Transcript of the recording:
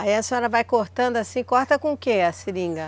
Aí a senhora vai cortando assim, corta com o que a seringa?